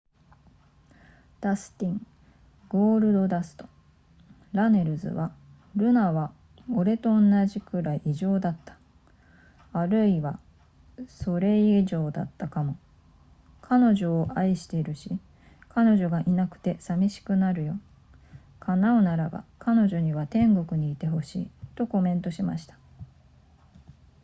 ダスティン・「ゴールドダスト」・ラネルズは、「ルナは俺と同じくらい異常だったあるいはそれ以上だったかも...彼女を愛しているし、彼女がいなくて寂しくなるよ叶うならば、彼女には天国にいてほしい」とコメントしました